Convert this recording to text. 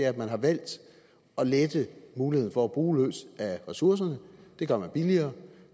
at man har valgt at lette muligheden for at bruge løs af ressourcerne det gør man billigere